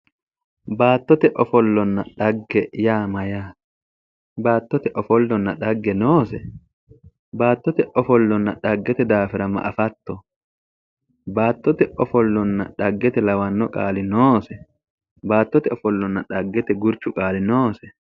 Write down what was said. Baattote ofollanna dhagge yaa Mayyaate? baattote ofollanna dhagge noose? baattote ofollanna dhaggete daafira ma afatto? baattote ofollanna dhaggete lawanno qaali noose? baattote ofollanna dhaggete gurichu qaali noose?